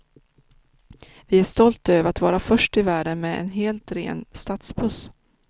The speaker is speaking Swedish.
Vi är stolta över att vara först i världen med en helt ren stadsbuss.